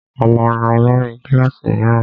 A máa yan olórí kílàsì míràn.